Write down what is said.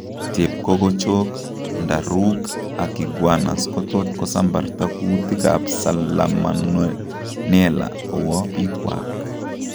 Chepkokochok, ndarook ak iguanas kotot kosambarta kuutik ab salamonella kowo biikwak